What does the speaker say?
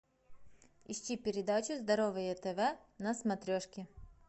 ищи передачу здоровое тв на смотрешке